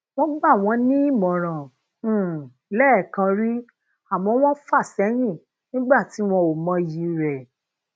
wọn gba won nímọràn um lẹẹkan ri àmọ wọn fà seyin nigba tí wọn ò mọyì re